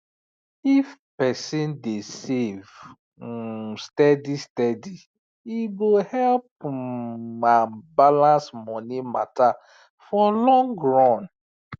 if person dey save um steady steady e go help um am balance money matter for long run